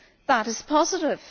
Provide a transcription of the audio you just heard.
That is positive.